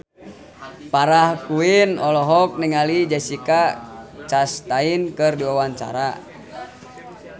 Farah Quinn olohok ningali Jessica Chastain keur diwawancara